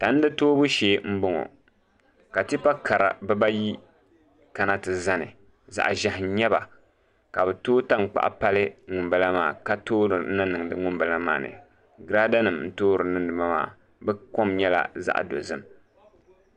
Tandi toobu shee n boŋo ka tipa kara bibayi kana ti zani zaɣ ʒiɛhi n nyɛba ka bi tooi tankpaɣu pali ŋunbala maa ka toori na niŋdi ŋunbala maa ni girada nim n toori niŋdi ba maa bi kom nyɛla zaŋ dozim